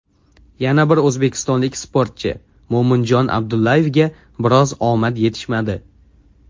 Yana bir o‘zbekistonlik sportchi Mo‘minjon Abdullayevga biroz omad yetishmadi.